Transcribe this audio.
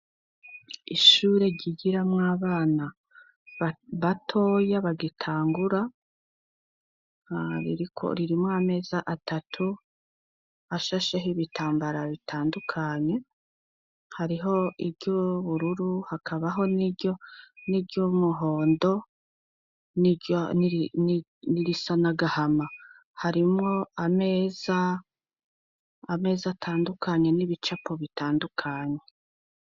Ishure bigiramo abana batoya bagitanguraririmo ameza atatu ashasheho ibitambara bitandukanye, hariho iry'ubururu hakabaho n'ibyo n'iry'umuhondo n'irisanagahama ari ameza atandukanye n'ibicapo bitandukanye.